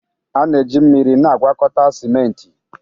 A na-eji mmiri na-agwakọta simenti.